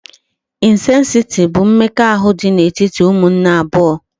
Insesiti bụ mmekọahụ dị n'etiti umunne abụọ